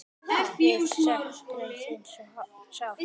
Við söknum þín svo sárt.